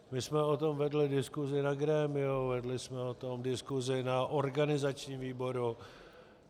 My jsme o tom vedli diskusi na grémiu, vedli jsme o tom diskusi na organizačním výboru.